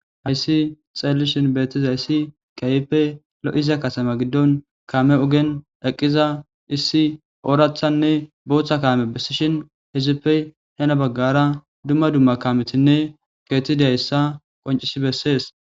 Hayssi xaelishin beetiza issi kayppe lo'iza kasama giddon kaame ogen eqqiza issi oorathanne booththa kaame bessishin hezippey hena baggara dumma dumma kametinne keetidayssa qoncis bessees.